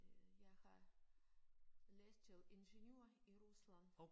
Øh jeg har læst til ingeniør i Rusland